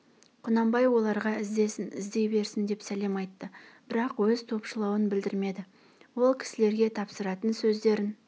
құнанбай оларға іздесін іздей берсін деп сәлем айтты бірақ өз топшылауын білдірмеді ол кісілерге тапсыратын сөздерін